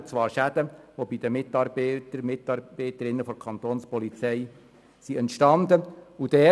Es handelt sich um Schäden, welche durch Mitarbeitende der Kapo entstanden sind.